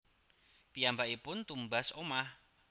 Piyambakipun tumbas omah